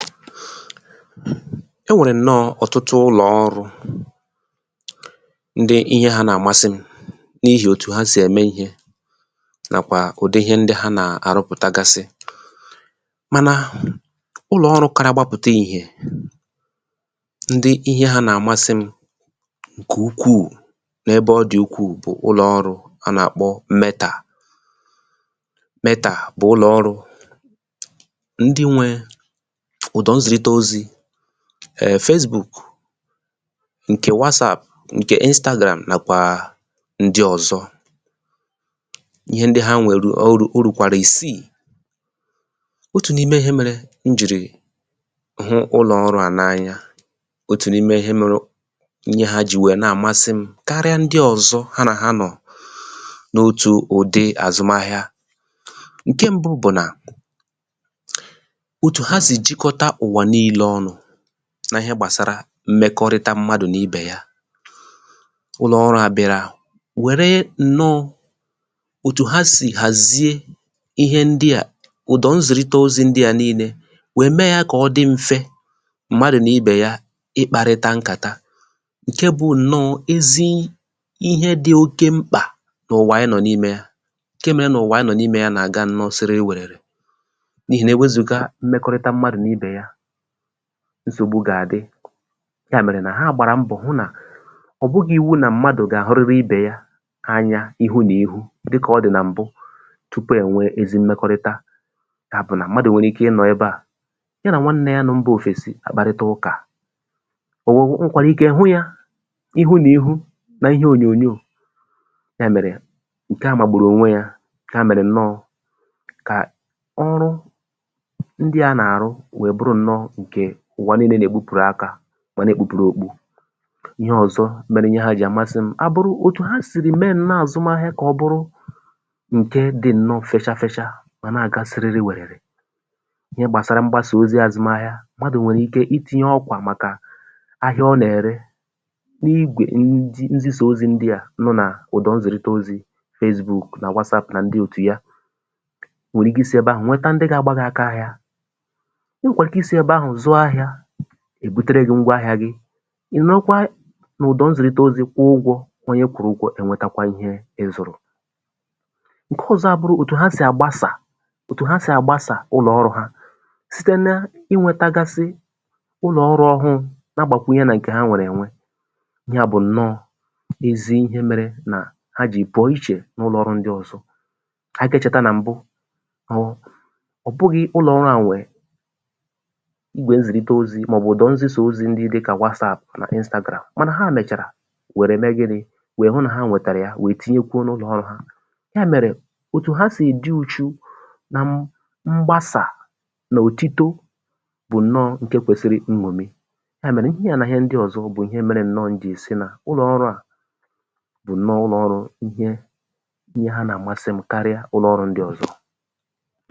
file 116 e nwèrè nnọ ọ̀tụtụ ụlọ̀ ọrụ̄ ndị ihẹ ha nà àmasị m n’ihì òtù ha sì ẹ̀mẹ ihē nàkwà ụ̀dị ịhẹ ndị ha nà àrụpụ̀tagasị mànà ụlọ̀ ọrụ̄ kara gbapụ̀ta ìhè ndị ihẹ ha nà àmasị m ǹkẹ̀ ukwù n’ebe ọ dị̀ ukwù bụ̀ ụlọ̀ ọrụ̄ a nà àkpọ Mẹtà Mẹtà bụ̀ ụlọ̀ ọrụ̄ ndị nwẹ ụ̀dọ̀ nzìrite ozī eh Fezbùk ǹkẹ̀ watsàp ǹkẹ̀ Instāgràm nàkwà ndị ọ̀zọ ihẹ ndị ha nwẹ̀rẹ̀ o rùkwàrà ìsiì otù n’ime ihẹ mẹrẹ m jìrì hụ ụlọ̀ ọrụ̄ à nà anya otù n’ime ihẹ mẹrẹ ihe ha jì wẹ̀ẹ nà àmasị m karịa ndị ọ̀zọ ha nà ha nọ̀ n’otū ụ̀dị àzụmahịa ǹke mbụ bụ̀ nà otù ha sị̀ chịkọta ụ̀wà nille ọnụ na ihẹ gbàsara mmẹkọrịta mmadù nà ibè ya ụlọ̀ ọrụ̄ à bị̀àrà wèrè ǹnọ òtù ha sì hàzie ihẹ ndịà ụ̀dọ̀ nzìrite ozī ndịa nille wẹ̀ mẹ ya kà ọ dị mfẹ mmadụ̀ nà ibè ya ịkparịta nkàta ǹkẹ bụ ǹnọ ezi ihẹ dị oke mkpà n’ụwà anyị nọ n’imē ya ǹke mẹrẹ nà ụ̀wà anyị nọ̀ n’imē y anà àga sererewẹ̀rẹ̀rẹ n’ihì nà ewezùga mmẹkọrịta mmadù n’ibè ya nsògbu gà àdị yà mẹ̀rẹ̀ nà ha gbàrà mbọ̀ hụ nà ọ̀ bụghị iwu nà mmadù gà àhụrịrị ibè ya anya ihu nà ihu dịkà ọ dị̀ nà m̀bụ tupù ẹ nwẹ ezi mmẹkọrịta yà bụ̀ nà mmadù nwẹ̀rẹ ike ị nọ ẹbẹ à ya nà nwanne ya nọ mbā òfèsi àkparịta ụkà o nwèkwàrà ike hụ ya ihu n’ihu na ihe ònyònyo yà mèrè ǹkẹ à màgbùrù ònwe ya yà mẹ̀rẹ̀ ǹnọ kà ọrụ ndịà nà àrụ wẹ bụrụ ǹnọ ǹkè ụ̀wà nille nà èbupùru akā mà nà èkpukpùru òkpu ihẹ ọ̀zọ mere ihe iheà jì àmasị m bụ̀ òtụ̀ ha sìrì mẹ ǹnọ àzụmahịa kà ọ bụrụ ǹkẹ dị ǹnọ fẹcha fẹcha mà nà àga sịrịrịwẹ̀rẹ̀rẹ̀ ihẹ gbàsara mgbasà ozī azụmahịa ahịa ọ nà ẹ̀rẹ n’igwè nzisà ozī ndịà nọ nà ụ̀dọ nzìrite ozī Fezbùk nà watsàp nà ndị òtù ya nwèrè ike isī ẹbẹ ahụ̄ nwẹtẹ ndị ga agba gi aka ahiā ẹ nwẹ̀kwàrà ike isī ẹbẹ ahụ̀ zụọ ahịā èbutere gi ngwọ ahịā gị ị̀ nọ̀rọkwa nà ụ̀dọ̀ nzìrite ozī kwụọ ụgwọ̄ onye kwụrụ ụgwọ̄ ẹ nwẹtakwa ihē ị zụ̀rụ̀ ǹkẹ ọzọ a bụrụ òtù ha sì àgbasà òtù ha sì àgbasà ulọ̀ ọrụ̄ ha site na ịnwẹtẹgasị ụlọ̀ ọrụ̄ ọhụụ̄ na agbàkwunye nà ǹkè ha nwẹ̀rẹ̀ ẹnwẹ yà bụ̀ ǹnọ ezi ihẹ mẹrẹ nà ha jì pụọ ichè na ụlọ ọrụ̄ ndị ọzọ anyị gà ẹchẹ̀ta nà m̀bụ bụ nà ọbụghị ụlọ̀ ọrụ̄ à nwẹ̀ igwè nzìrite ozī mà ọ̀ bụ̀ ụ̀dọ̀ nzisà ozi ndị dịkà wasàp mà Instāgràm mànà hà mẹ̀chàrà wẹ̀rẹ mẹ gịnị wẹ̀ hụ nà ha wẹ̀tàrà ya wère tinyekwuo n’ụlọ̀ ọrụ̄ ha yà mẹ̀rẹ̀ òtù ha sì dị uchu na mgbasà nà òtito bụ̀ ǹnọ ǹkẹ kwesiri nñòmi yà mẹ̀rẹ ihẹà nà ịhẹ ndị ọ̀zọ bụ̀ ihẹ mẹrẹ ǹnọ m jì sị nà bụ ǹnọ ụlọ̀ ọrụ̄ ihe ihẹ ha nààmasị m karịa ụlọ ọrụ̄ ndị ọ̀zọ